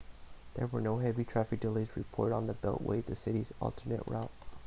there were no heavy traffic delays reported on the beltway the city's alternate route